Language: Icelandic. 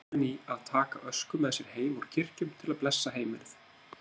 Sóttu menn í að taka ösku með sér heim úr kirkjum til að blessa heimilið.